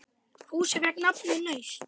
Húsið fékk nafnið Naust.